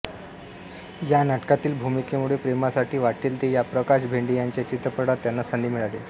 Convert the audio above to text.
या नाटकातील भूमिकेमुळे प्रेमासाठी वाट्टेल ते या प्रकाश भेंडे यांच्या चित्रपटात त्यांना संधी मिळाली